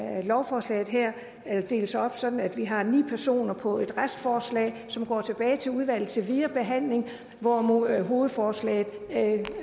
at lovforslaget her deles op sådan at vi har ni personer på et restforslag som går tilbage til udvalget til videre behandling hvorimod hovedforslaget